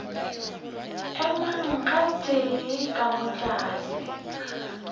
emang gabotse ka moo tlase